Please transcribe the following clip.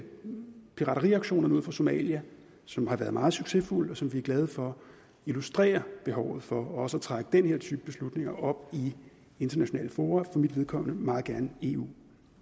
pirateriaktionerne ud for somalia som har været meget succesfulde og som vi er glade for illustrerer behovet for også at trække den her type beslutninger op i internationale fora og for mit vedkommende meget gerne i eu